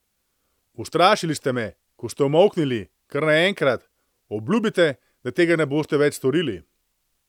Ustrašili ste me, ko ste umolknili, kar naenkrat, obljubite, da tega ne boste več storili.